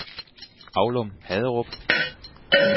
Aulum-Haderup